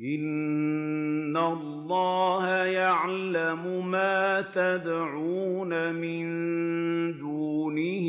إِنَّ اللَّهَ يَعْلَمُ مَا يَدْعُونَ مِن دُونِهِ